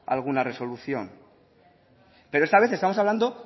alguna resolución pero esta vez estamos hablando